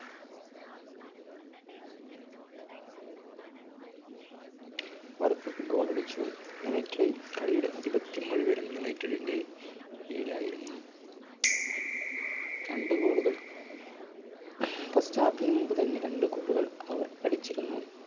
goal ടിച്ചു United കളിയുടെ ആധിപത്യം മുഴുവൻ യുണൈറ്റഡിന്റെ കൈയിലായിരുന്നു. രണ്ടു goal കൾ first half ന് മുമ്പ് തന്നെ രണ്ട് goal കൾ അവർ അടിച്ചിരുന്നു.